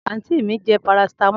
anti mi je paracetamol.